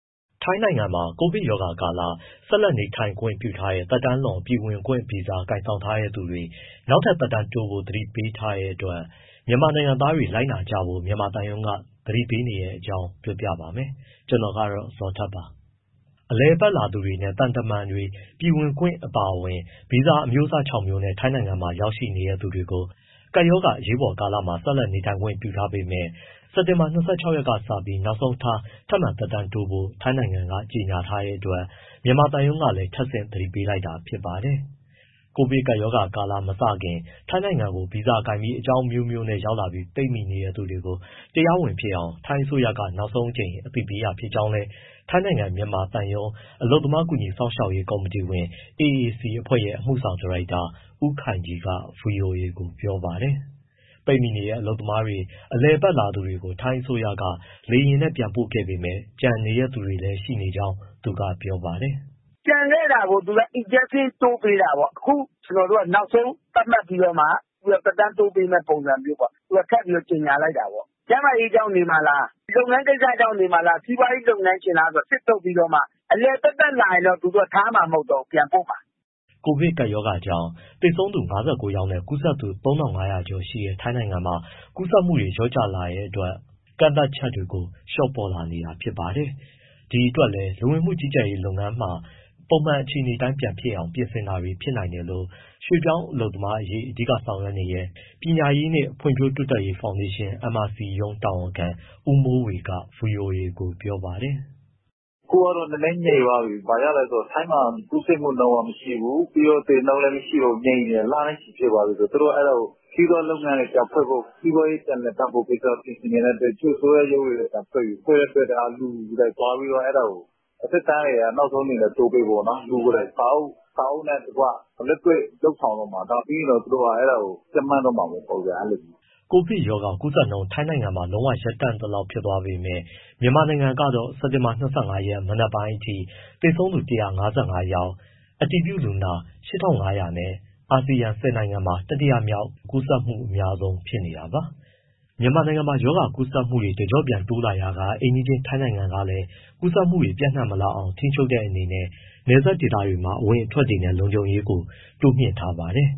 ထိုင်းနိုင်ငံမှာ ကိုဗစ်ကပ်ရောဂါကာလ ဆက်လက်နေထိုင်ခွင့်ပြုထားတဲ့ သက်တမ်းလွန် ပြည်ဝင်ခွင့်ဗီဇာ ကိုင်ဆောင်ထားသူတွေ နောက်ထပ် သက်တမ်းတိုးဖို့ သတိပေးထားတဲ့အတွက် မြန်မာနိုင်ငံသားတွေ လိုက်နာကြဖို့ မြန်မာသံရုံးက သတိပေးနေတဲ့အကြောင်းကို ဗွီအိုအေမြန်မာပိုင်းသတင်းထောက် ကိုဇော်ထက်က ပြောပြပေးပါမယ်။ အလည်အပတ်လာသူတွေနဲ့ သံတမန်တွေ ပြည်ဝင်ခွင့် အပါအဝင် ဗီဇာ အမျိုးအစား ခြောက် မျိုးနဲ့ ထိုင်းနိုင်ငံမှာ ရောက်ရှိနေသူတွေကို ကပ်ရောဂါ အရေးပေါ်ကာလမှာ ဆက်လက် နေထိုင်ခွင့်ပြုထားပေမဲ့ စက်တင်ဘာ ၂၆ ရက်နေ့ နောက်ဆုံးထားပြီး ထပ်မံသက်တမ်းတိုးဖို့ ထိုင်းနိုင်ငံက ကြေညာထားတဲ့အတွက် မြန်မာသံရုံးကလည်း ထပ်ဆင့် သတိပေးလိုက်တာဖြစ်ပါတယ်။ ကိုဗစ်ကပ်ရောဂါမစခင် ထိုင်းနိုင်ငံကို ဗီဇာကိုင်ပြီး အကြောင်းအမျိုးမျိုးနဲ့ရောက်လာပြီး ပိတ်မိနေတဲ့သူတွေကို တရားဝင်ဖြစ်အောင် ထိုင်းအစိုးရက နောက်ဆုံးအကြိမ် အသိပေးတာဖြစ်ကြောင်းလည်း ထိုင်းနိုင်ငံ မြန်မာသံရုံး အလုပ်သမားကူညီစောင့်ရှောက်ရေး ကော်မတီဝင် AAC အဖွဲ့ရဲ့ အမှုဆောင်ဒါရိုက်တာ ဦးခိုင်ကြီးက ဗွီအိုအေကို ပြောပါတယ်။ ပိတ်မိနေတဲ့ အလုပ်သမားတွေနဲ့ အလည်အပတ်လာသူတွေကို ထိုင်းအစိုးရက လေယာဉ်နဲ့ ပြန်ပို့ခဲ့ပေမဲ့ ကျန်နေတဲ့သူတွေလည်း ရှိနေကြောင်း သူကပြောပါတယ်။ “ကျန်ခဲ့တာကို သူက (ထိုင်းအစိုးရက) extension သက်တမ်း ထပ်တိုးပေးတာပေါ့။ အခုနောက်ဆုံး သတ်မှတ်ပြီးတော့မှ သက်တမ်းတိုးပေးမယ့် ပုံစံမျိုးပေါ့၊ သူတို့က ထပ်ပြီး ကြေညာလိုက်တာပေါ့။ ကျန်းမာရေးကြောင့်နေမှာလား၊ လုပ်ငန်းကိစ္စကြောင့်နေမှာလား၊ စီးပွားရေး လုပ်ငန်းရှင်လားဆိုတာ စစ်ထုတ်ပြီးတော့မှ အလည်သက်သက် လာရင်တော့ သူတို့က ထားမှာမဟုတ်တော့ဘူး၊ ပြန်ပို့မှာ။” ကိုဗစ်ကပ်ရောဂါကြောင့် သေဆုံးသူ ၅၉ ယောက်နဲ့ ကူးစက်သူ ၃,၅၀၀ ကျော်ရှိတဲ့ ထိုင်းနိုင်ငံမှာ ကူးစက်မှုတွေ လျော့ကျလာတဲ့အတွက် ကန့်သတ်ချက်တွေကို လျှော့ပေါ့လာနေတာပါ။ ဒီအတွက်လည်း လူဝင်မှုကြီးကြပ်ရေး လုပ်ငန်းတွေမှာပါ ပုံမှန်အခြေအနေအတိုင်း ဖြစ်လာအောင် ပြင်ဆင်တာ ဖြစ်နိုင်တယ်လို့ ရွှေ့ပြောင်းလုပ်သားအရေး အဓိကလုပ်ဆောင်တဲ့ ပညာရေးနှင့် ဖွံ့ဖြိုးတိုးတက်ရေး ဖောင်ဒေးရှင်း MRC ရုံးတာဝန်ခံ ဦးမိုးဝေက ဗွီအိုအေကို ပြောပါတယ်။ “အခုကတော့ နည်းနည်းငြိမ်သွားပြီ။ ဘာဖြစ်လို့လဲဆိုတော့ ထိုင်းမှာ ကူးစက်မှုနှုန်းက မရှိဘူး၊ ပြီးတော့ သေနှုန်းလည်း ငြိမ်နေတယ်၊ လနဲ့ချီ ဖြစ်သွားပြီဆိုတော့ သူတို့ကအဲဒါကို စီးပွားရေးလုပ်ငန်းတွေ ပြန်ဖွင့်ဖို့ စီးပွားရေး ပြန်လည်ပတ်ဖို့ကိစ္စ ပြင်ဆင်နေတဲ့အတွက် တချို့ အစိုးရရုံးတွေ ပြန်ဖွင့်ပြီ၊ ပြန်ဖွင့်တဲ့အတွက် လူတွေဘာတွေသွားပြီး အဲဒါကို သက်တမ်းကို နောက်ဆုံးအနေနဲ့ တိုးပေးဖို့ပေါ့နော် လူကိုယ်တိုင် စာအုပ်နဲ့တကွ၊ လက်တွေ့ လုပ်ဆောင်တော့မှာ။ ဒါပြီးရင်တော့ သူတို့က အဲဒါကို ကြပ်မတ်တော့မှာပေါ့။” ကိုဗစ်ရောဂါကူးစက်နှုန်း ထိုင်းဘက်မှာ လုံးဝရပ်တန့်သလောက်ဖြစ်သွားပေမဲ့ မြန်မာနိုင်ငံကတော့ စက်တင်ဘာ ၂၅ ရက် မနက်ပိုင်းအထိ သေဆုံးသူ ၁၅၅ ယောက်၊ အတည်ပြုလူနာ အယောက် ၈,၅၀၀ နဲ့ အာဆီယံ ၁၀နိုင်ငံမှာ တတိယမြောက် ကူးစက်မှု အများဆုံးဖြစ်နေတာပါ။ မြန်မာနိုင်ငံမှာ ရောဂါကူးစက်မှုတွေ တကျော့ပြန်တိုးလာရာက အိမ်နီးချင်းထိုင်းနိုင်ငံကလည်း ကူးစက်မှုတွေ ပျံ့နှံ့မလာအောင် ထိန်းချုပ်တဲ့ အနေနဲ့ နယ်စပ်ဒေသတွေမှာ အဝင်အထွက်တွေနဲ့ လုံခြုံရေးတွေကိုလည်း တိုးမြှင့်ထားပါတယ်